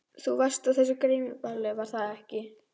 Þú varst á þessu grímuballi, var það ekki?